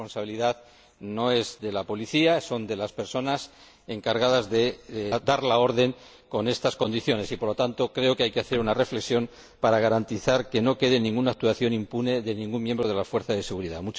la responsabilidad no es de la policía, sino de las personas encargadas de dar la orden con estas condiciones y, por lo tanto, creo que hay que hacer una reflexión para garantizar que no quede impune ninguna actuación de ningún miembro de las fuerzas de seguridad.